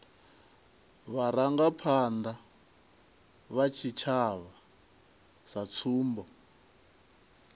vharangaphanda vha tshitshavha sa tsumbo